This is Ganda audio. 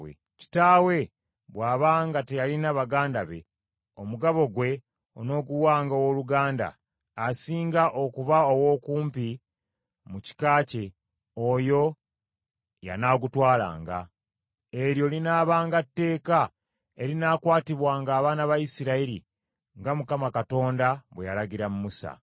Kitaawe bw’aba nga teyalina baganda be, omugabo gwe onooguwanga owooluganda asinga okuba ow’okumpi mu kika kye, oyo y’anaagutwalanga. Eryo linaabanga tteeka erinaakwatibwanga abaana ba Isirayiri, nga Mukama Katonda bwe yalagira Musa.’ ”